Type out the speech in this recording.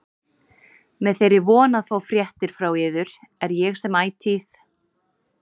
Með þeirri von að fá fréttir frá yður er ég sem ætíð